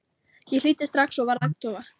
Ég hlýddi strax og varð agndofa.